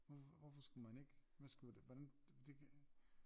Hvorfor skulle man ikke hvad skulle hvordan det kan